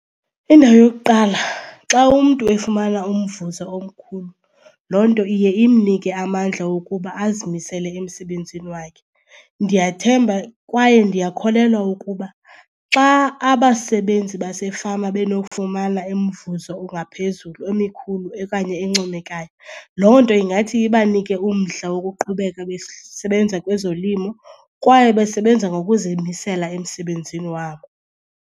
Indawo yokuqala xa umntu efumana umvuzo omkhulu loo nto iye imnike amandla wokuba azimisele emsebenzini wakhe. Ndiyathemba kwaye ndiyakholelwa ukuba xa abasebenzi basefama benokufumana umvuzo ongaphezulu, emikhulu okanye encomekayo, loo nto ingathi ibanike umdla wokuqhubeka besebenza kwezolimo kwaye besebenza ngokuzimisela emsebenzini wabo.